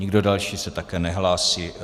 Nikdo další se také nehlásí.